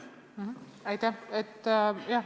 Aitäh!